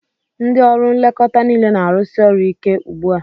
Ndị ọrụ nlekọta niile na-arụsi ọrụ ike ugbu a.